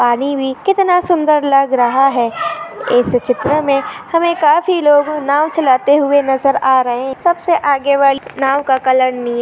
पानी भी कितना सुंदर लग रहा है। इस चित्र मे हमे काफी लोग नाव चलते हुए नज़र आ रहे है। सबसे आगे वाली नाव का कलर नीला--